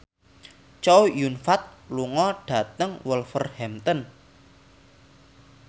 Chow Yun Fat lunga dhateng Wolverhampton